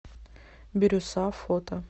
бирюса фото